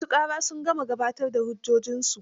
Ma su ƙara sun gama gabatar da hujjojinsu.